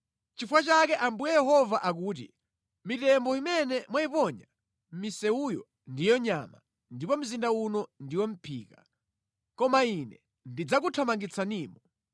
“Nʼchifukwa chake Ambuye Yehova akuti, ‘Mitembo imene mwayiponya mʼmisewuyo ndiyo nyama ndipo mzinda uno ndiwo mʼphika, koma Ine ndidzakuthamangitsanimo.